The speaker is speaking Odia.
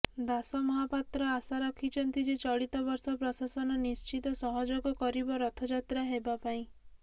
ଦାସ ମହାପାତ୍ର ଆଶା ରଖିଛନ୍ତି ଯେ ଚଳିତବର୍ଷ ପ୍ରଶାସନ ନିଶ୍ଚିତ ସହଯୋଗ କରିବ ରଥଯାତ୍ରା ହେବା ପାଇଁ